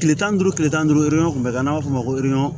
Tile tan ni duuru tile tan ni duuru yɔrɔ kun bɛ n'a b'a f'o ma